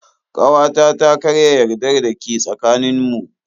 Kawata ta karya yardar da ke tsakanin mu.